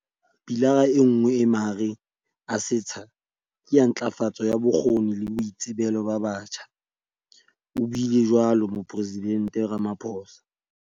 "Pilara enngwe e mahareng a setsha ke ya ntlafatso ya bokgoni le boitsebelo ba batjha," o buile jwalo Mopore sidente Ramaphosa.